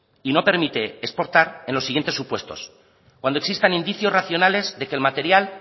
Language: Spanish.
y no permite exportar en los siguientes supuestos cuando existan indicios racionales de que el material